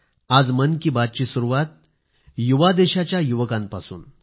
आज मन की बात ची सुरुवात युवा देशाच्या युवकांपासून